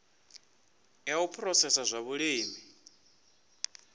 ya u phurosesa zwa vhulimi